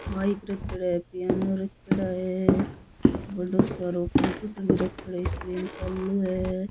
Mike रखेड़ो है piano रखेड़ा है बड़ो सारो कम्प्यूटर भी रखेड़ो है स्क्रीन चालू है।